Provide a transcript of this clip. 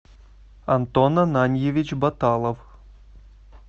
антон ананьевич баталов